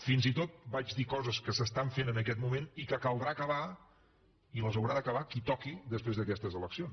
fins i tot vaig dir coses que s’estan fent en aquest moment i que caldrà acabar i les haurà d’acabar qui toqui després d’aquestes eleccions